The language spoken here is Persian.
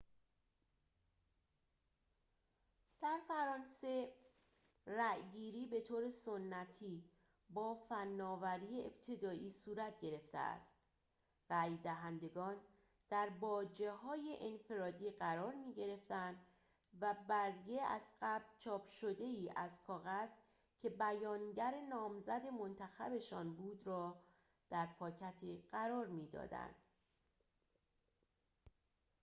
در فرانسه رأی‌گیری بطور سنتی با فناوری ابتدایی صورت گرفته است رأی دهندگان در باجه‌هایی انفرادی قرار می‌گرفتند و برگه از قبل چاپ شده‌ای از کاغذ که بیانگر نامزد منتخب‌شان بود را در پاکتی قرار می‌دادند